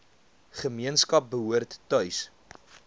gemeenskap behoort tuis